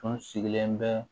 Tun sigilen bɛ